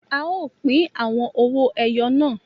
A o pin àwọn owó ẹyọ náà